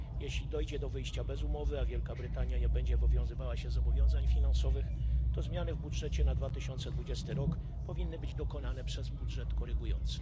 Jeśli dojdzie do wyjścia bez umowy, a Wielka Brytania nie będzie wywiązywała się ze zobowiązań finansowych, to zmiany w budżecie na 2020 rok powinny być dokonane przez budżet korygujący.